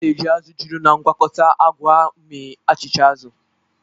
A na-eji azụ̀ juru na mgwakota agwa mee achịcha azụ̀.